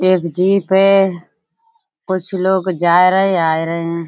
ये एक जीप है। कुछ लोग जाए रहे हैं आए रहे हैं।